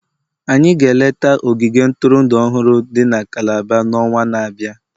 anyị ga-eleta ogige ntụrụndụ ọhụrụ dị na Calabar n'ọnwa na-abịa.